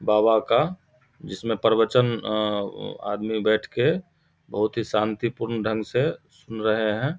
बाबा का जिसमे प्रवचन अ अ आदमी बैठ के बहुत ही शांति पूर्ण ढंग से सुन रहे है।